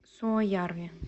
суоярви